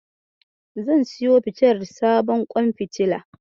Zan siyowa fitilar sabon kwan fitila.